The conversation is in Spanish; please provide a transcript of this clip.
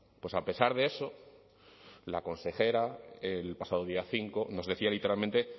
pues a pesar de eso la consejera el pasado día cinco nos decía literalmente